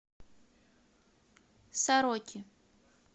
сороки